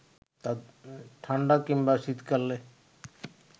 ঠাণ্ডা কিংবা শীতকালে